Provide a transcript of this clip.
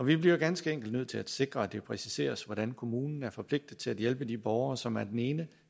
vi bliver jo ganske enkelt nødt til at sikre at det præciseres hvordan kommunen er forpligtet til at hjælpe de borgere som af den ene